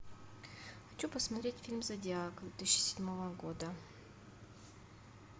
хочу посмотреть фильм зодиак две тысячи седьмого года